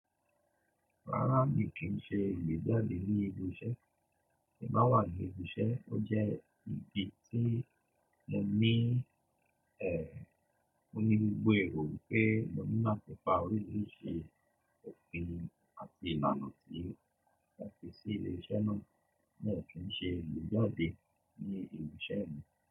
Rárá mi kì í ṣe igbejade ní ibi iṣẹ́. Èmi máa wà ní ibi iṣẹ́, o jẹ́ ibi tí mo ní ẹ́, mo ní gbogbo èrò pé mo nílò ti pa orí rí ṣe òfin àti ìlànà tí wọ́n fi sí ilé iṣẹ́ náà. Mi o kin ṣe igbejade ní ibi iṣẹ́ mi.